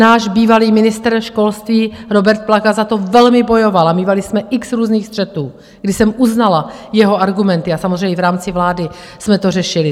Náš bývalý ministr školství Robert Plaga za to velmi bojoval a mívali jsme x různých střetů, kdy jsem uznala jeho argumenty, a samozřejmě v rámci vlády jsme to řešili.